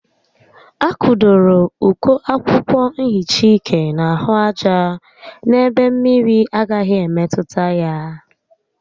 A kụdoro uko akwụkwọ nhicha ike n'ahụ aja n'ebe mmiri agaghi emetụta ya